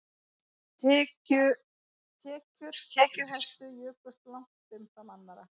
Tekjur tekjuhæstu jukust langt umfram annarra